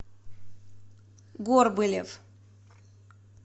горбылев